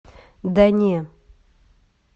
да не